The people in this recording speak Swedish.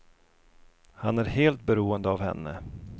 Han är helt beroende av henne.